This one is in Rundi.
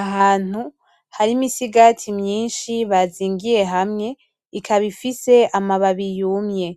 Ahantu hari imisigati myinshi bazingiye hamwe, ikaba ifise amababi yumye,